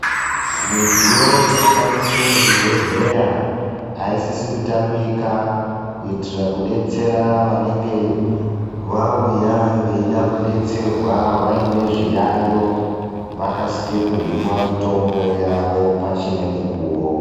Midziyo yekushandisa muzvibhedhlera aisisi kutamika, kuitira kudetsera vanenge vauya vaine zviyayo vakasike kuhinwa mitombo yavo pachine mukuwo.